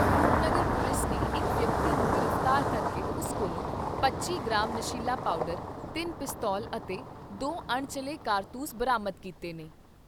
Rupnagar police ਨੇ ਇਕ ਵਿਅਕਤੀ ਨੂੰ ਗ੍ਰਿਫਤਾਰ ਕਰਕੇ ਉਸ ਕੋਲੋਂ ਪੱਚੀ ਗ੍ਰਾਮ ਨਸ਼ੀਲਾ ਪਾਊਡਰ, ਤਿੰਨ ਪਿਸਤੌਲ ਅਤੇ ਦੋ ਅਣਚੱਲੇ ਕਾਰਤੂਸ ਬਰਾਮਦ ਕੀਤੇ ਨੇ।